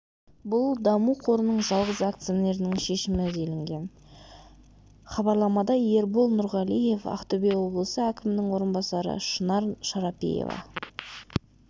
бұл даму қорының жалғыз акционерінің шешімі делінген хабарламада ербол нұрғалиев ақтөбе облысы әкімінің орынбасары шынар шарапиева